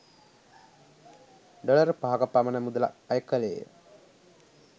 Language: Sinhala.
ඩොලර් පහක පමණ මුදලක් අය කෙළේය.